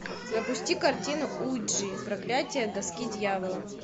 запусти картину уиджи проклятие доски дьявола